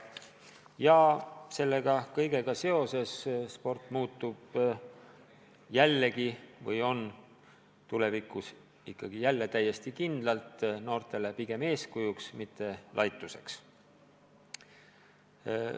Loodetavasti selle kõigega seoses sport muutub ja on tulevikus ikkagi jälle täiesti kindlalt noortele eeskujuks, mitte millegi laiduväärse kehastuseks.